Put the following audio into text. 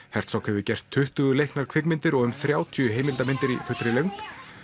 hefur gert tuttugu leiknar kvikmyndir og um þrjátíu heimildarmyndir í fullri lengd